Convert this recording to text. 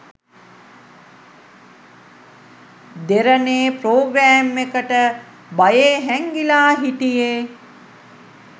දෙරණේ programme එකට බයේ හැංගිලා හිටියේ